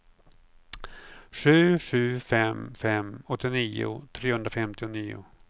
sju sju fem fem åttionio trehundrafemtionio